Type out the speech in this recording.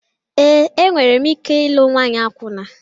Ee, enweghị m ike ịlụ nwanyị akwụna.